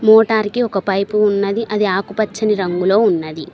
Motor కి ఒక pipe ఉన్నది అది ఆకుపచ్చని రంగులో ఉన్నది.